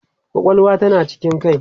kwakwalwa tana cikin kai